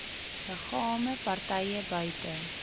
liggame partye buite